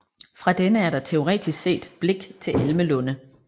Fra denne er der teoretisk set blik til Elmelunde